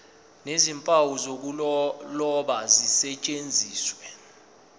nezimpawu zokuloba zisetshenziswe